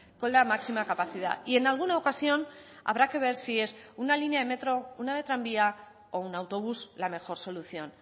con la máxima capacidad y en alguna ocasión habrá que ver si es una línea de metro una de tranvía o un autobús la mejor solución